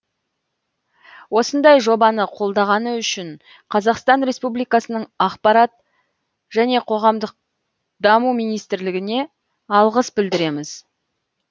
осындай жобаны қолдағаны үшін қазақстан республикасының ақпарат және қоғамдық даму министрлігіне алғыс білдіреміз